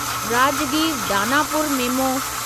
Rajgir Danapur memo